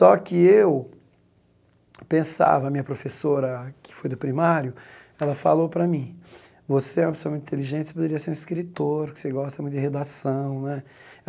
Só que eu pensava, a minha professora, que foi do primário, ela falou para mim, você é uma pessoa muito inteligente, você poderia ser um escritor, você gosta muito de redação né.